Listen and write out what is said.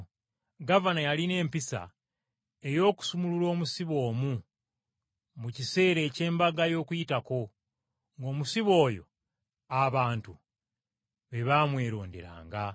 Gavana yalina empisa ey’okusumulula omusibe omu mu kiseera eky’Embaga y’Okuyitako, ng’omusibe oyo abantu be baamweronderanga.